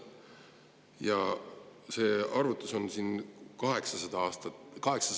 Ja see arvutus siin on 800 000 aasta kohta tehtud.